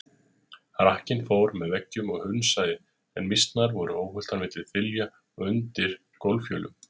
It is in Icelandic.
Rakkinn fór með veggjum og hnusaði, en mýsnar voru óhultar milli þilja og undir gólffjölum.